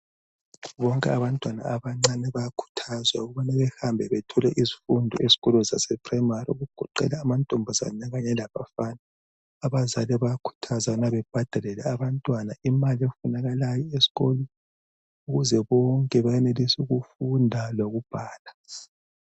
Bonke abantwana abancane bayakhuthazwa ukubana bahambe bathole izifundo ezkolo zase purayimari okugoqela amantombazane kanye labafana. Abazali bayakhuthazwa ukubana babhadalele abantwana imali ezifunakalayo eskolo ukuze bonke bayanelise ukufunda lokubhala.